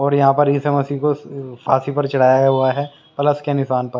और यहाँ पर यीशु मसीह को फांसी पर चढ़ाया हुआ हैप्लस के निशान पर।